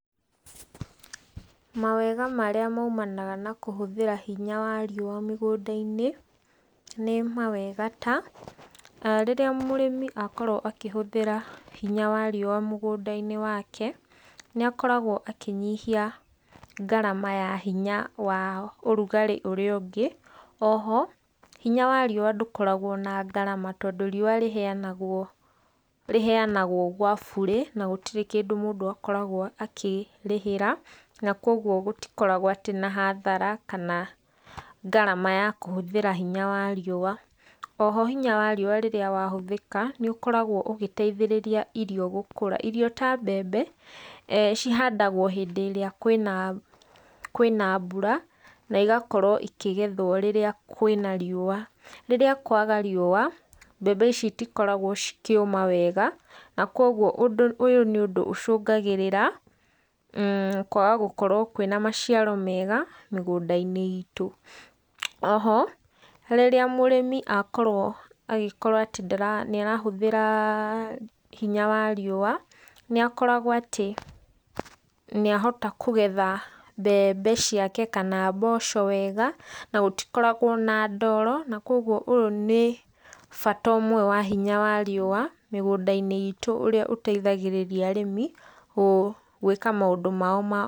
Mawega marĩa maumanaga nakũhũthĩra hinya wa riũa mĩgũnda-inĩ nĩ mawega ta, rĩrĩa mũrĩmi akorwo akĩhũthĩra hinya wa riũa mũgũnda-inĩ wake nĩakoragwo akĩnyihia ngarama ya hinya wa ũrugarĩ ũrĩa ũngĩ. O ho hinya wa riũa ndũkoragwo na ngarama tondũ riũa rĩheyanagwo gwa bure na gũtirĩ kĩndũ mũndũ akoragwo akĩrĩhĩra, na koguo gũtikoragwo na hathara kana ngarama ya kũhũthira hinya wa riũa. O ho rĩrĩa hinya wa riũa wahũthĩka nĩũkoragwo ũgĩteithĩrĩria irio gũkũra. Irio ta mbembe cihandagwo hĩndĩ ĩrĩa kũrĩ na mbura na igakorwo ikĩgethwo rĩrĩa kwĩna riũa. Rĩrĩa kwaga riũa mbembe ici citikoragwo cikĩũma wega. Na koguo ũyũ nĩ ũndũ ũcũngagĩrĩra kwaga gũkorwo kũrĩ na maciaro mega mĩgũnda-inĩ itũ. O ho rĩrĩa mũrĩmi akorwo agĩkorwo atĩ nĩahũthĩra hinya wa riũa nĩakoragwo atĩ nĩahota kũgetha mbembe ciake kana mboco wega na gũtikoragwo na ndoro, na koguo ũyũ nĩ bata ũmwe wa hinya wa riũa mĩgũnda-inĩ itũ ũrĩa ũteithagĩrĩria arĩmi gwĩka maũndũ mao ma...